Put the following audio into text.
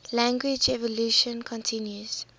language evolution continues